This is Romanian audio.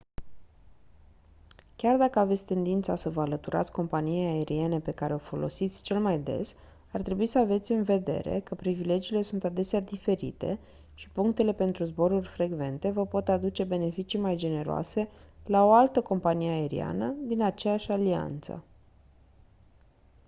chiar dacă aveți tendința să vă alăturați companiei aeriene pe care o folosiți cel mai des ar trebui să aveți în vedere că privilegiile sunt adesea diferite și punctele pentru zboruri frecvente vă pot aduce beneficii mai generoase la o altă companie aeriană din aceeași alianță